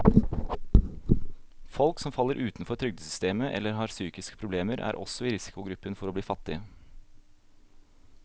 Folk som faller utenfor trygdesystemet eller har psykiske problemer, er også i risikogruppen for å bli fattige.